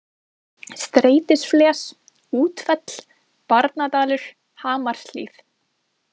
Streitisfles, Útfell, Barnadalur, Hamarshlíð